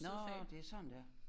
Nåh det sådan det er